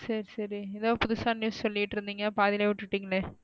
சரி சரி ஏதோ புதுசா news சொலிட்டு இருந்தீங்க. பாதில விட்டுடீங்கலே.